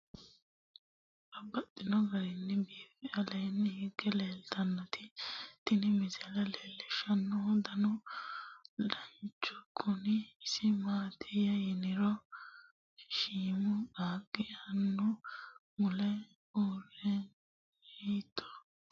Babaxxittinno garinni biiffe aleenni hige leelittannotti tinni misile lelishshanori danu danunkunni isi maattiya yinummoro mancho isi ledo qaaqo muliisidhe shiimmu qaaqi annu mule uurenna mitto danna udirre noori leelanno